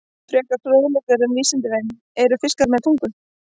Frekari fróðleikur um Vísindavefnum: Eru fiskar með tungu?